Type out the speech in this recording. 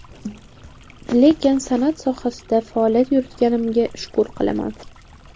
Lekin san’at sohasida faoliyat yuritganimga shukur qilaman.